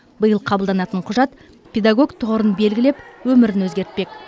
биыл қабылданатын құжат педагог тұғырын белгілеп өмірін өзгертпек